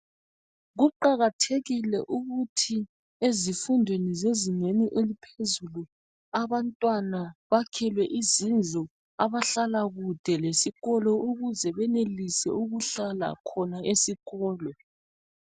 Kuqakathekile ukuthi ezifundweni zezingeni eliphezulu abantwana bakhelwe izindlu abahlala khatshana lesikolo ukuze benelise ukuhlala khona esikolo.